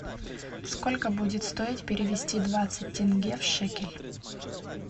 сколько будет стоить перевести двадцать тенге в шекель